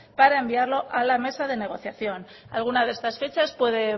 para enviarlo a la mesa de negociación alguna de estas fechas puede